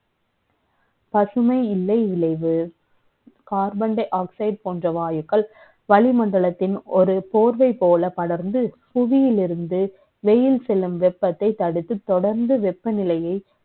பசுமை இல்லை இளை வு. Carbon dioxide ப ோன்ற வாயுக்கள், களி களிமண்டலத்தின் ஒரு ப ோர்வ ப ோல படர்ந்து, புவியிலிருந்து, வெ யில் செ ல்லும் வெ ப்பத்தை தடுத்து, த ொடர்ந்து வெ ப்பநிலை யை,